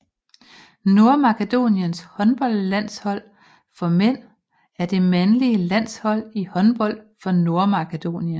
Nordmakedoniens håndboldlandshold for mænd er det mandlige landshold i håndbold for Nordmakedonien